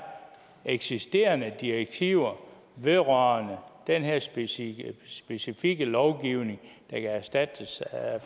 eksisterende direktiver vedrørende den her specifikke specifikke lovgivning der kan erstattes af